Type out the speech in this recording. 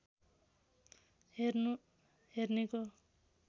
हेर्नु हेर्नेको